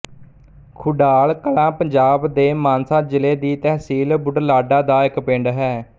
ਖੁਡਾਲ ਕਲਾਂ ਪੰਜਾਬ ਦੇ ਮਾਨਸਾ ਜ਼ਿਲ੍ਹੇ ਦੀ ਤਹਿਸੀਲ ਬੁਢਲਾਡਾ ਦਾ ਇੱਕ ਪਿੰਡ ਹੈ